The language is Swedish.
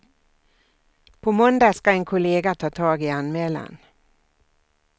På måndag ska en kollega ta tag i anmälan.